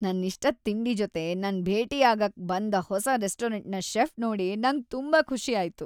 ನನ್ ಇಷ್ಟದ್ ತಿಂಡಿ ಜೊತೆ ನನ್ ಭೇಟಿಯಾಗಾಕ್ ಬಂದ ಹೊಸ ರೆಸ್ಟೋರೆಂಟ್ನ ಶೆಫ್ ನೋಡಿ ನಂಗ್ ತುಂಬಾ ಖುಷಿ ಆಯ್ತು.